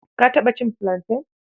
Ka taɓa cin filanten?